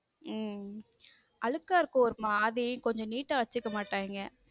உம் அழுக்கா இருக்கும் ஒரு மாறி கொஞ்சம் neat ஆ வச்சுக்க மாட்டாங்க.